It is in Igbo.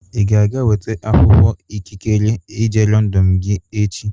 Ị ga-aga weta akwụkwọ ikikere ije Lọndọn gị echi?